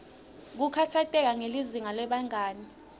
kukhatsateka ngelizinga lebangani